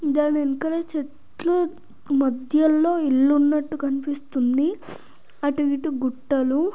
దాని ఎనకల చెట్లు మధ్యలో ఇల్లు ఉన్నట్టు కనిపిస్తుంది అటు ఇటు గుట్టలు--